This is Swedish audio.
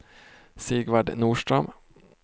Sigvard Norström